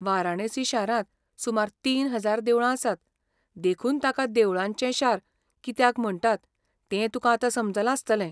वारणासी शारांत सुमार तीन हजार देवळां आसात, देखून ताका 'देवळांचें शार' कित्याक म्हणटात तें तुका आतां समजलां आसतलें.